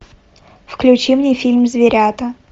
включи мне фильм зверята